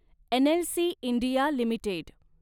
NLC India limited